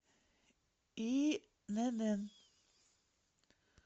инн